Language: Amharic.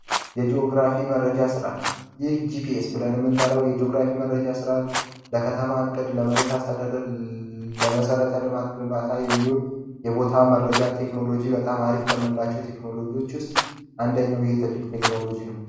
የጂኦግራፊ መረጃ ስርዓት ይህ ጂፒኤስ ብለን ምንጠራው የጂግራፊ መረጃ ስ ተተማ ዕቅድ ለመሬት አስተዳደር ለመሰረተ ልማት ግንባታ የቦታ መረጃ ቴክኖሎጂ በጣም አሪፍ ከምንላቸው ቴክኖሎጂዎች ውስጥ አንደኛ ትልቅ ቴክኖሎጂ ነው